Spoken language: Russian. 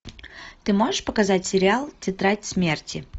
ты можешь показать сериал тетрадь смерти